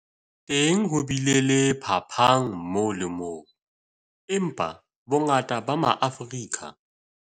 Teng ho bile le phapang moo le moo, empa bongata ba Maafrika